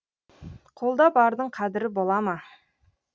қолда бардың қадірі бола ма